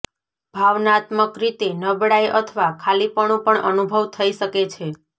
ભાવનાત્મક રીતે નબળાઈ અથવા ખાલીપણું પણ અનુભવ થઇ શકે છે